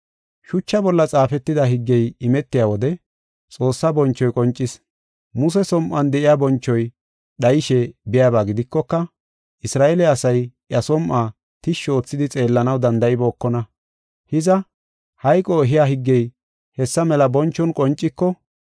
Shucha bolla xaafetida higgey imetiya wode Xoossaa bonchoy qoncis. Muse som7uwan de7iya bonchoy dhayishe biyaba gidikoka, Isra7eele asay iya som7uwa tishshi oothidi xeellanaw danda7ibookona. Hiza, hayqo ehiya higgey hessa mela bonchon qonciko,